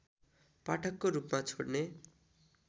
पाठकको रूपमा छोड्ने